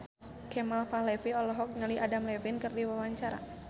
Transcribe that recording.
Kemal Palevi olohok ningali Adam Levine keur diwawancara